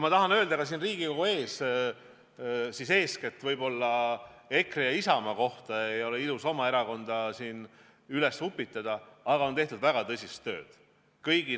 Ma tahan öelda ka Riigikogu ees eeskätt võib-olla EKRE ja Isamaa kohta – oma erakonda ei ole ilus siin upitada –, et tehtud on väga tõsist tööd.